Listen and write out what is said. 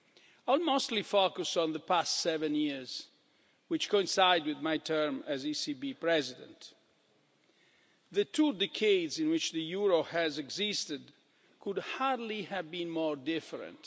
I will mostly focus on the past seven years, which coincide with my term as ECB President. The two decades in which the euro has existed could hardly have been more different.